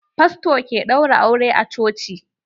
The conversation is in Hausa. Fasto ke ɗaura aure a coci.